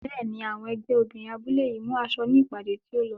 Bẹ́ẹ̀ni, àwọn ẹgbẹ́ obìnrin abúlé yìí mú aṣọ ní ìpàdé tí ó lọ.